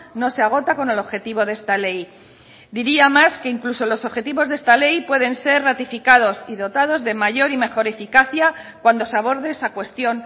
no se agota con el objetivo de esta ley diría más que incluso los objetivos de esta ley pueden ser ratificados y dotados de mayor y mejor eficacia cuando se aborde esa cuestión